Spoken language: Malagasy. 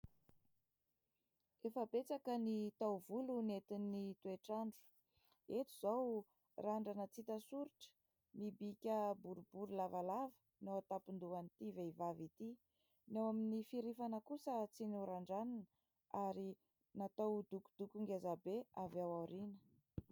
Efa betsaka ny taovolo nentin'ny toetr'andro. Eto izao randrana tsy hita soritra, mibika borobory lavalava no ao an-tampon-dohan'itỳ vehivavy itỳ. Ny ao amin'ny fihirifana kosa tsy norandranina ary natao dokodoko ngeza be ny avy aoriana.